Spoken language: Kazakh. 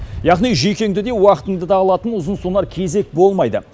яғни жүйкеңді де уақытыңды да алатын ұзынсонар кезек болмайды